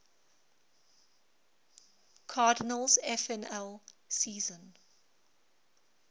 cardinals nfl season